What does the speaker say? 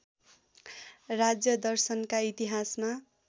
राज्यदर्शनका इतिहासमा